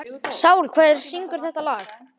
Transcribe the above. Sál, hver syngur þetta lag?